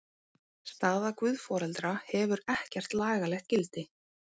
Staða guðforeldra hefur ekkert lagalegt gildi.